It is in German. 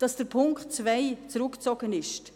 Ich bin sehr froh, dass der Punkt 2 zurückgezogen ist;